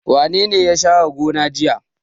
Wane ne ya share gona jiya?